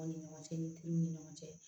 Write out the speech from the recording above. Aw ni ɲɔgɔn cɛ ni tigiw ni ɲɔgɔn cɛ